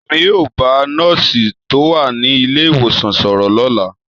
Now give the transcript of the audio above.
Èmi yóò bá nọ́ọ̀sì tó wà ní ilé ìwòsàn sọ̀rọ̀ lọ́la.